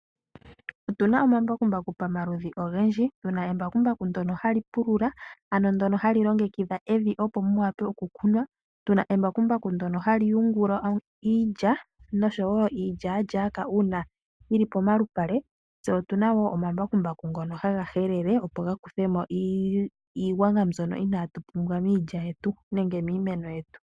Otuna omambakumbaku pa maludhi ogendji, tuna embakumbaku ndono hali pulula, ano ndono hali longekidha evi opo mu wape okukunwa. Tuna embakumbaku ndono hali yungula iilya, noshowo iilyalyaka uuna yili pomalupale. Tse otuna wo omambakumbaku ngono haga helele opo gakuthemo iigwanga mbyono inaa tu pumbwa miilya yetu, nengw miimeno yetu.